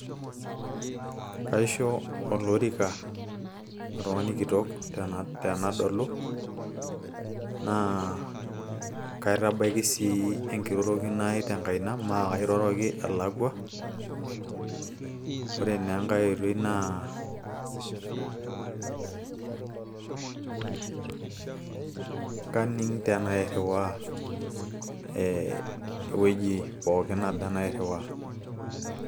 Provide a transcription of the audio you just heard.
Kisho olorika oltung'ani kitok tenadolu naa kitabaiki sii enkirorokino ai tenkaina maa kairoroki alakua ore naa enkay oitoi naa kaning tenairriwaa ee ewueji pookin naba nairriwaa.